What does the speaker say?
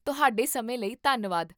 ਤੁਹਾਡੇ ਸਮੇਂ ਲਈ ਧੰਨਵਾਦ